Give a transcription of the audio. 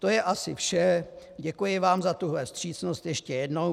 To je asi vše, děkuji vám za tuhle vstřícnost ještě jednou.